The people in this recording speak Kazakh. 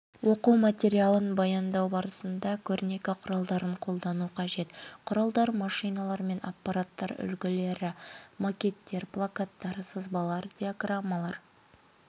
оқу материалын баяндау барысында көрнекі құралдарын қолдану қажет құралдар машиналар мен аппараттар үлгілері макеттер плакаттар сызбалар диаграммалар